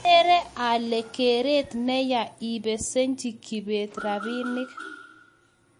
Agere ale keret ne ya ipesenchi Kibet rabinik